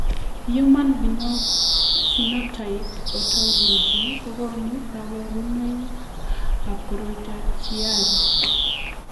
Human Phenotype Ontology kokonu kabarunoikab koriotoab Chiari.